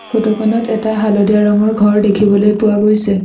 Photo খনত এটা হালধীয়া ৰঙৰ ঘৰ দেখিবলৈ পোৱা গৈছে।